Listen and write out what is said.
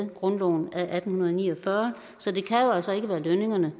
grundloven i atten ni og fyrre så det kan jo altså ikke være lønningerne